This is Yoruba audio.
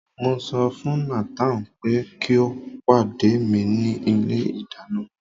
mo so fún Nathan pe ki o pade mi ni ilé ìdáná